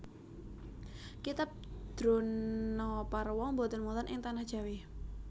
Kitab Dronaparwa boten wonten ing Tanah Jawi